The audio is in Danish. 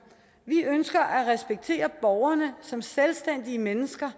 vi ønsker at respektere borgerne som selvstændige mennesker